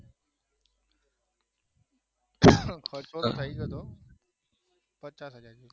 પચાસ થયી ગયેલો પચાસ હજાર